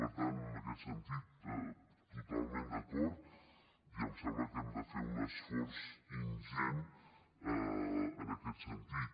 per tant en aquest sentit totalment d’acord i em sembla que hem de fer un esforç ingent en aquest sentit